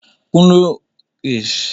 Kunle lò ká kókòó lòsè tókòjá